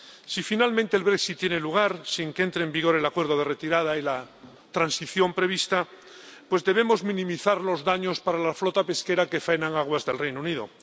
Si finalmente el Brexit tiene lugar sin que entre en vigor el Acuerdo de Retirada y la transición prevista, debemos minimizar los daños para la flota pesquera que faena en aguas del Reino Unido.